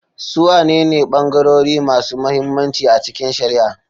Su wanene bangarori masu mahimmanci a cikin shari'a?